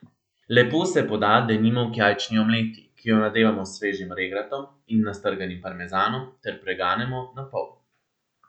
Lepo se poda denimo k jajčni omleti, ki jo nadevamo s svežim regratom in nastrganim parmezanom ter preganemo na pol.